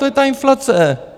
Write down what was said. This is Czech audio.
To je ta inflace.